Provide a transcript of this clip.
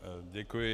Děkuji.